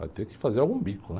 Vai ter que fazer algum bico, né?